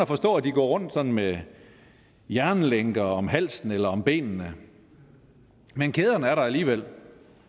forstå at de går rundt med jernlænker om halsen eller om benene men kæderne er der alligevel